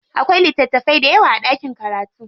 Akwai littatafai dayawa a ɗakin karatu.